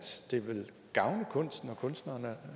det vil gavne kunsten og kunstnerne